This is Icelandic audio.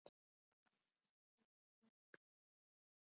Minning um góðan mann lifir.